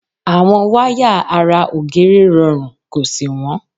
Àwọn wáyà ara ògiri rọrùn kò sì wọ́n.